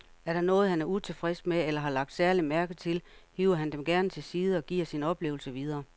Er der noget, han er utilfreds med eller har lagt særlig mærke til, hiver han dem gerne til side og giver sine oplevelser videre.